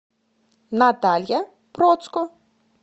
наталья процко